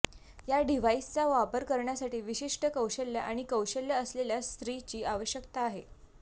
या डिव्हाइसचा वापर करण्यासाठी विशिष्ट कौशल्य आणि कौशल्य असलेल्या स्त्रीची आवश्यकता आहे